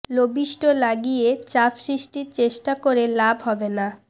lobbyist লাগিয়ে চাপ সৃষ্টির চেষ্টা করে লাভ হবে না